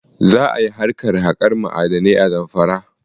Za ka yi harkar haƙar ma'adanai a Zamfara.